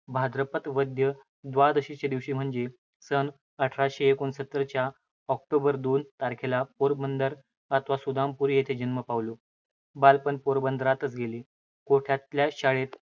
भाद्रपद वद्य द्वादशीच्या दिवशी म्हणजे सनअठराशे एकोणसत्तर च्या ऑक्टोबरच्या दोन तारखेला पोरबंदर अथवा सुदामापुरी येथे जन्म पावलो. बालपण पोरबंदरातच गेले. कोठल्याशा शाळेत